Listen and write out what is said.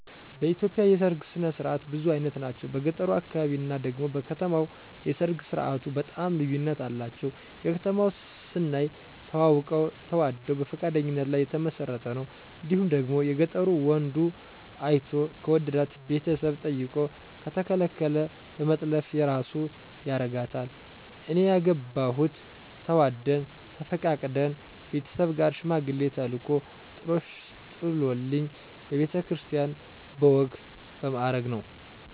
በኢትዮጵያ የሠርግ ስነ ስርዓት ብዙ አይነት ናቸው። በገጠሩ አካባቢ እና ደግሞ በከተማው የሰርግ ስርዓቱ በጣም ልዩነት አላቸው። የከተማው ስናይ ተዋውቀው ተዋደው በፈቃደኝነት ላይ የተመሰረተ ነው እንዲሁም ደግሞ የገጠሩ ወንዱ አይቶ ከወደዳት ቤተሰብ ጠይቆ ከተከለከለ በመጥለፍ የራሱ ያረጋታል። እኔ ያገባሁት ተዋደን ተፈቃቅደን ቤተሠብ ጋር ሽማግሌ ተልኮ ጥሎሽ ጥሎልኝ በቤተ ክርስቲያን በወግ በማረግ ነው።